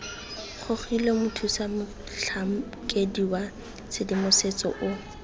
gogilwe mothusamotlhankedi wa tshedimosetso o